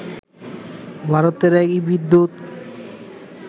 ভারতের এই বিদ্যুৎ